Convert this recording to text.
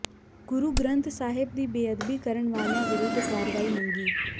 ਗੁਰੂ ਗ੍ਰੰਥ ਸਾਹਿਬ ਦੀ ਬੇਅਦਬੀ ਕਰਨ ਵਾਲਿਆਂ ਵਿਰੁੱਧ ਕਾਰਵਾਈ ਮੰਗੀ